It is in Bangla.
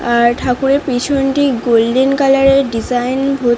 আর ঠাকুরের পিছনটি গোল্ডেন কালার -এর ডিজাইন ভ --।